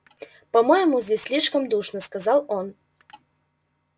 по-моему здесь слишком душно сказал он